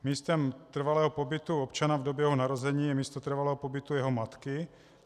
Místem trvalého pobytu občana v době jeho narození je místo trvalého pobytu jeho matky.